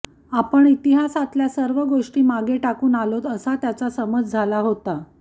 आपण इतिहासातल्या सर्व गोष्टी मागे टाकून आलोत असा त्याचा समज झाला होता